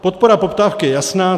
Podpora poptávky je jasná.